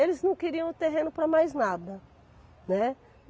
Eles não queriam o terreno para mais nada, né.